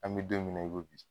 An bɛ don min na i ko bi.